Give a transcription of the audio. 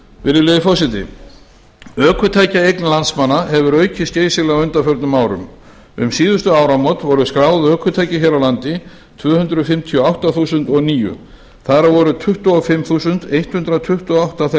virðulegi forseti ökutækjaeign landsmanna hefur aukist geysilega á undanförnum árum um síðustu áramót voru skráð ökutæki hér á landi tvö hundruð fimmtíu og átta þúsund og níu þar af voru tuttugu og fimm þúsund hundrað tuttugu og átta þeirra